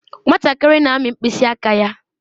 Nwatakịrị na-amị mkpịsị aka ya.